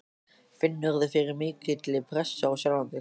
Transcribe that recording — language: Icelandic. Finnurðu fyrir mikilli pressu á sjálfan þig?